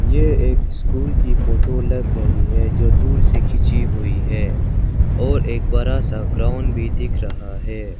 ये एक स्कूल की फोटो लग रही है जो दूर से खींची हुई है और एक बड़ा सा ग्राउंड भी दिख रहा है।